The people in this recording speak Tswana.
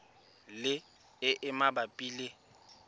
le e e mabapi le